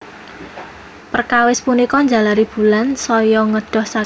Perkawis punika njalari Bulan saya ngedoh saking bumi